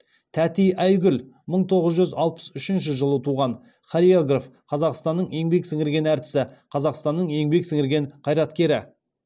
тәти айгүл мың тоғыз жүз алпыс үшінші жылы туған хореограф қазақстанның еңбек сіңірген әртісі қазақстанның еңбек сіңірген қайраткері